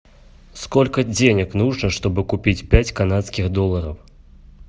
сколько денег нужно чтобы купить пять канадских долларов